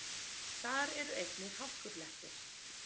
Þar eru einnig hálkublettir